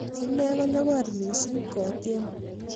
inee ko nyogor mising' kotiem